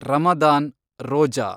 Ramadan, Roja